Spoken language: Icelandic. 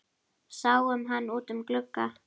Sáum hann út um glugga.